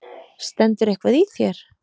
Stendur eitthvað í þér?